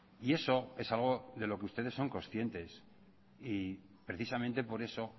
y eso es algo de lo que ustedes son conscientes y precisamente por eso